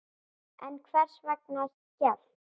En hvers vegna hélt